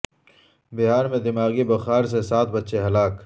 بہار میں دماغی بخار سے سات بچے ہلاک